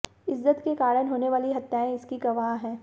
इज्जत के कारण होने वाली हत्याएं इसकी गवाह हैं